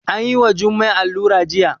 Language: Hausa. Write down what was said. Anyi wa Jummai allura jiya